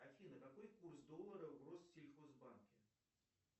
афина какой курс доллара в россельхоз банке